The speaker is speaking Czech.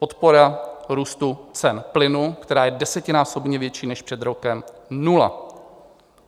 Podpora růstu cen plynu, která je desetinásobně větší než před rokem - nula.